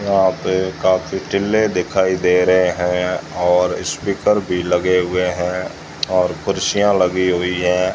यहां पे काफी टिल्ले दिखाई दे रहे हैं और स्पीकर भी लगे हुए हैं और कुर्सियां लगी हुई हैं।